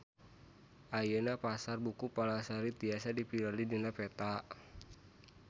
Ayeuna Pasar Buku Palasari tiasa dipilarian dina peta